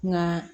Nka